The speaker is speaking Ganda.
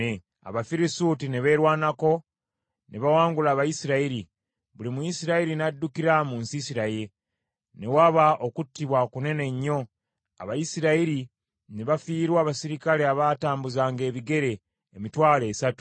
Abafirisuuti ne beerwanako ne bawangula Abayisirayiri. Buli Muyisirayiri n’addukira mu nsiisira ye. Ne waba okuttibwa kunene nnyo, Abayisirayiri ne bafiirwa abaserikale abaatambuzanga ebigere emitwalo esatu.